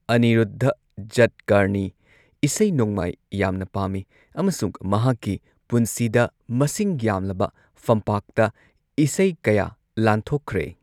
ꯑꯅꯤꯔꯨꯗꯙ ꯖꯠꯀꯔꯅꯤ ꯏꯁꯩ ꯅꯣꯡꯃꯥꯏ ꯌꯥꯝꯅ ꯄꯥꯝꯃꯤ ꯑꯃꯁꯨꯡ ꯃꯍꯥꯛꯀꯤ ꯄꯨꯟꯁꯤꯗ ꯃꯁꯤꯡ ꯌꯥꯝꯂꯕ ꯐꯝꯄꯥꯛꯇ ꯏꯀꯩ ꯀꯌꯥ ꯂꯥꯟꯊꯣꯛꯈ꯭ꯔꯦ꯫